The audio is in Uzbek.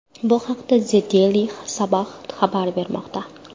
Bu haqda The Daily Sabah xabar bermoqda .